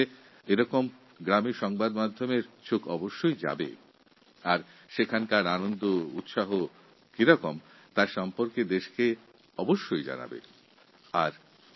কিন্তু আমার বিশ্বাস প্রচারমাধ্যম এই সব গ্রামে পৌঁছে সেখানকার মানুষের আশা ও আকাঙ্খার কথা সমগ্র দেশবাসীর কাছে তুলে ধরবে